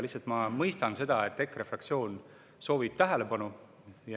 Lihtsalt ma mõistan seda, et EKRE fraktsioon soovib tähelepanu.